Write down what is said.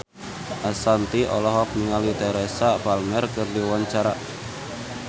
Ashanti olohok ningali Teresa Palmer keur diwawancara